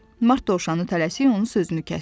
Mart Dovşanı tələsik onun sözünü kəsdi.